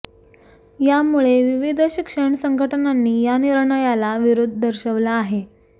यामुळे विविध शिक्षण संघटनांनी या निर्णयाला विरोध दर्शवला आहे